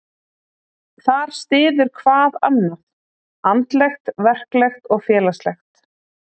Þar styður hvað annað, andlegt, verklegt og félagslegt.